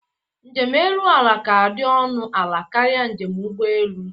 Njem elu ala ka dị ọnụ ala karịa njem ụgbọelu